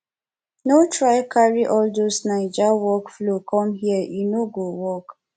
no try carry all those naija workflow com here e no go work